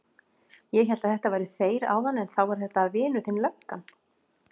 Ég hélt að þetta væru þeir áðan en þá var þetta vinur þinn löggan.